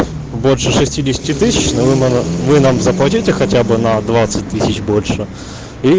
больше но вы нам заплатите хотя бы на больше